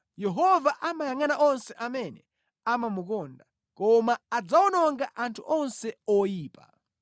Yehova amayangʼana onse amene amamukonda koma adzawononga anthu onse oyipa.